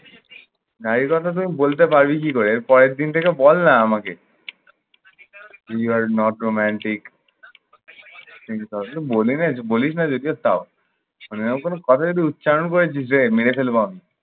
গাড়ির কথা তুই বলতে পারবি কি করে? এর পরের দিন থেকে বল না আমাকে। you are not romantic any problem বললি না বলিস না যেচে তাও। মানে এমন কোন কথা যদি উচ্চারণ করেছিস যে মেরে ফেলবো আমি।